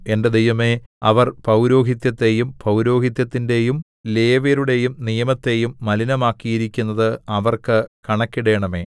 എന്റെ ദൈവമേ അവർ പൗരോഹിത്യത്തെയും പൗരോഹിത്യത്തിന്റെയും ലേവ്യരുടെയും നിയമത്തെയും മലിനമാക്കിയിരിക്കുന്നത് അവർക്ക് കണക്കിടേണമേ